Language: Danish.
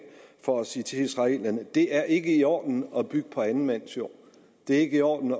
for at sige til israelerne det er ikke i orden at bygge på anden mands jord det er ikke i orden